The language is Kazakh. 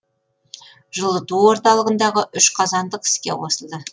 жылыту орталығындағы үш қазандық іске қосылды